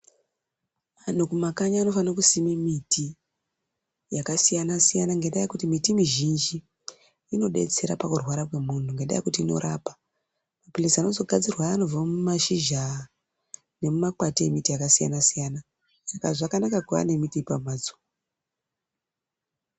Vanhu kumakanyi vanofane kusime miti yakasiyana siyana ngenda yekuti miti mizhinji inodetsera pakurwara kwemuntu ngendaa yekuti inorapa , maphirizi ayani anozogadzirwa anobva mumashizha nemumakwati emiti yakasiyana siyana saka zvakanaka kuva nemiti pamhatso.